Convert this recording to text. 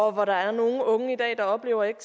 hvor der er nogle unge i dag der oplever ikke